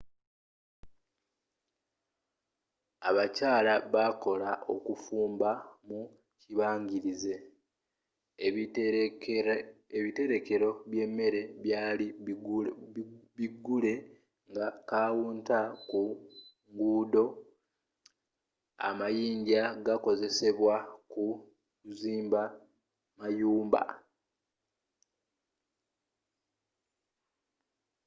abakyala bakola okufumba mu kibangirizi ebiterekelo by'emere byali bigule nga counter ku ngudo amayinja gakozesebwa mu kuzimba mayumba